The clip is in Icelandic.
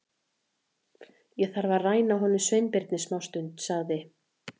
Ég þarf að ræna honum Sveinbirni smástund- sagði